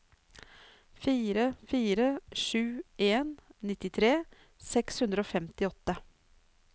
fire fire sju en nittitre seks hundre og femtiåtte